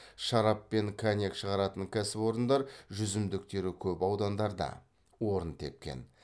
шарап пен коньяк шағаратын кәсіпорындар жүзімдіктері көп аудандарда орын тепкен